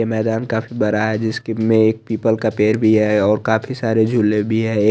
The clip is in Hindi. ये मैंदान काफी बरा है जिसकी में एक पीपल का पेर भी है और काफी सारे जुले भी है ए --